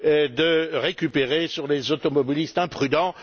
de récupérer sur les automobilistes imprudents.